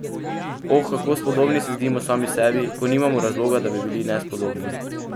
Oh, kako spodobni se zdimo sami sebi, ko nimamo razloga, da bi bili nespodobni!